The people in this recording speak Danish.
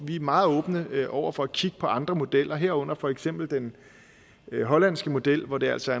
vi er meget åbne over for at kigge på andre modeller herunder for eksempel den hollandske model hvor det altså